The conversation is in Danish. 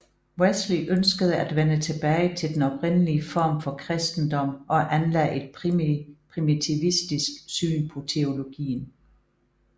Wesley ønskede at vende tilbage til den oprindelige form for kristendom og anlagde et primitivistisk syn på teologien